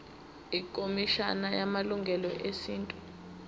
ikhomishana yamalungelo esintu